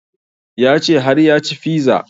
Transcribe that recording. Ya ce har ya ci fiza